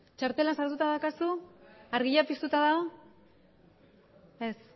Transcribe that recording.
txartela sartuta daukazu argia piztuta dago ez